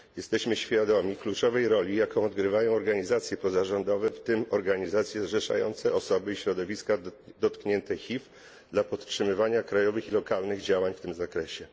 Jesteśmy świadomi kluczowej roli, jaką odgrywają organizacje pozarządowe, w tym organizacje zrzeszające osoby i środowiska dotknięte HIV dla podtrzymywania krajowych i lokalnych działań w tym zakresie.